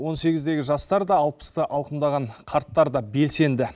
он сегіздегі жастар да алпысты алқымдаған қарттар да белсенді